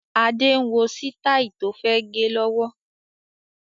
Adé ń wo sitai tó fẹ́ gẹ lọ́wọ́